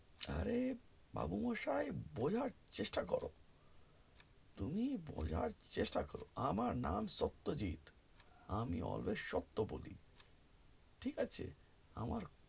অরে বাবু মশাই বোঝার চেষ্টা করো তুমি বোঝার চেষ্টা করো আমার নাম সত্যজিৎ আমি always সত্য বলি ঠিক আছে আমার